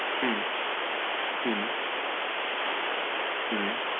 হু হু হু হু হু